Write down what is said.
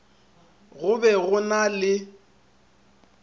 go be go na le